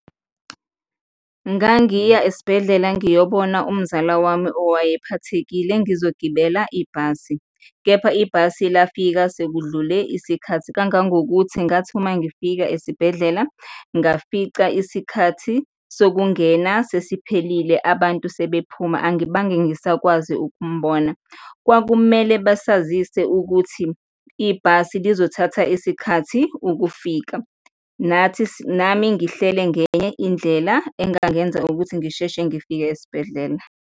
Ngangiya esibhedlela ngiyobona umzala wami owayephathekile, ngizogibela ibhasi kepha ibhasi lafika sekudlule isikhathi, kangangokuthi ngathi uma ngifika esibhedlela, ngafica isikhathi sokungena sesiphelile abantu sebephuma. Angibange ngisakwazi ukumbona. Kwakumele basazise ukuthi ibhasi lizothatha isikhathi ukufika, nathi, nami ngihlele ngenye indlela engangenza ukuthi ngisheshe ngifike esibhedlela.